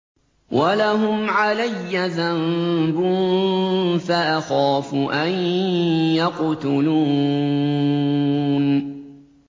وَلَهُمْ عَلَيَّ ذَنبٌ فَأَخَافُ أَن يَقْتُلُونِ